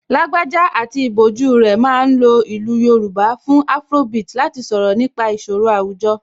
Lágbájá pẹ̀lú ìbòjú rẹ̀ ma ń lo ìlú Yorùbá fún afrobeat láti sọ̀rọ̀ nípa ìṣòro àwùjọ